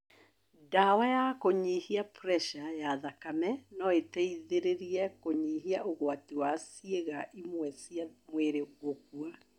Ndawa ya kũnyihia preca ya thakame noiteithie kũnyihia ũgwati wa ciĩga imwe cia mwĩrĩ gũkua